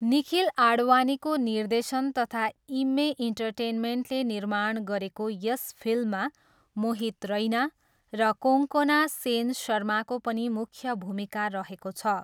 निखिल आडवाणीको निर्देशन तथा इम्मे इन्टरटेनमेन्टले निर्माण गरेको यस फिल्ममा मोहित रैना र कोन्कोना सेन शर्माको पनि मुख्य भूमिका रहेको छ।